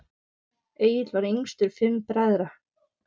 Egill var yngstur fimm bræðra.